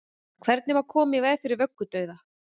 hvernig má koma í veg fyrir vöggudauða